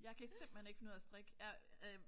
Jeg kan simpelthen ikke finde ud af at strikke. Jeg